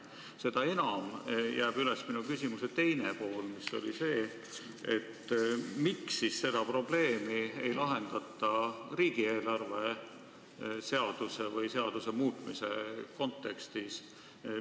Seda enam jääb üles minu küsimuse teine pool: miks seda probleemi ei lahendata riigieelarve seaduse või selle muutmise kontekstis?